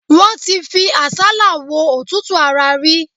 Wọ́n ti fi àsálà wo òtútù ara rí.